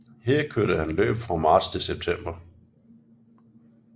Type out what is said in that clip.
Her kørte han løb fra marts til september